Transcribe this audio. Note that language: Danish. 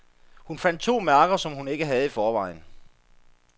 Hun fandt to mærker, som hun ikke havde i forvejen.